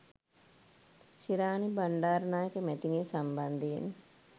ශිරාණි බණ්ඩාරනායක මැතිනිය සම්බන්ධයෙන්